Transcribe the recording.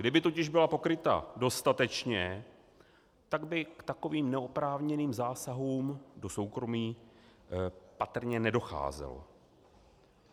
Kdyby totiž byla pokryta dostatečně, tak by k takovým neoprávněným zásahům do soukromí patrně nedocházelo.